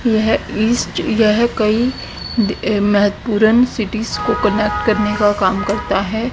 यह इस्ट यह कई अ महत्वपूर्ण सिटीज को कनेक्ट करने का काम करता है।